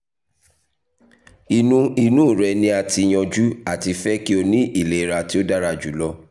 inu inu rẹ ni a ti yanju ati fẹ ki o ni ilera ti o dara julọ